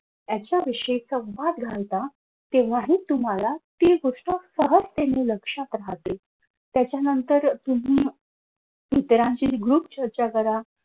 यांच्याविषयीच संवाद घालता. तेव्हाही तुम्हाला ती गोष्ट सहजतेने लक्षात राहते. त्याच्यानंतर तुम्ही इतरांशी group चर्चा करा.